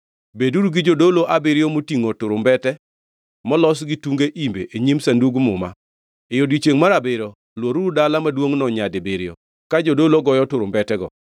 Beduru gi jodolo abiriyo motingʼo turumbete molos gi tunge imbe e nyim Sandug Muma. E odiechiengʼ mar abiriyo, lworuru dala maduongʼno nyadibiriyo, ka jodolo goyo turumbetego.